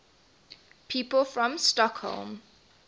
people from stockholm